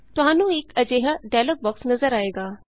ਤੁਹਾਨੂੰ ਇਕ ਅਜਿਹਾ ਡਾਇਲੌਗ ਬੋਕਸ ਨਜ਼ਰ ਆਏਗਾ